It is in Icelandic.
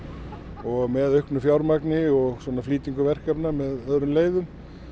og með auknu fjármagni og flýtingu verkefna með öðrum leiðum